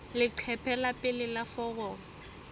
leqephe la pele la foromo